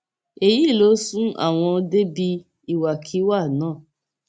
èyí ló sún àwọn débi ìwàkiwà náà